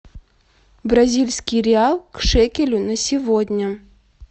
бразильский реал к шекелю на сегодня